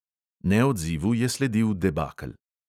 Neodzivu je sledil debakel.